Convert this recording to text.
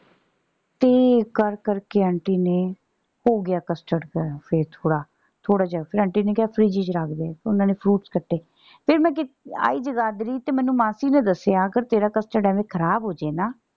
ਤੇ ਕਰ ਕਰ ਕੇ ਆਂਟੀ ਨੇ ਹੋ ਗਿਆ custard ਗਾੜ੍ਹਾ ਫੇਰ ਥੋੜਾ। ਥੋੜਾ ਜੇਹਾ ਫੇਰ ਆਂਟੀ ਨੇ ਕਿਹਾ ਫਰਿੱਜ ਚ ਰੱਖ ਦੇ। ਓਹਨਾ ਨੇ fruits ਕੱਟੇ। ਫੇਰ ਮੈਂ ਕੀਤੇ ਆਈ ਜਗਾਧਰੀ ਤੇ ਮੈਨੂੰ ਮਾਸੀ ਨੇ ਦਸਿਆ ਅਗਰ ਤੇਰਾ custard ਐਵੇਂ ਖ਼ਰਾਬ ਹੋ ਜੇ ਨਾ।